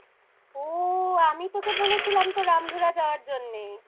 ও! আমিই তোকে বলেছিলাম তো রামধুরা যাওয়ার জন্যে